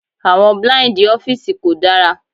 Àwọn blíǹdì ọ́fíìsì kò dára.